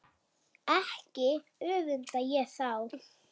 Ekki öfunda ég þá